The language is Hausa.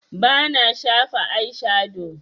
Bana shafa aishado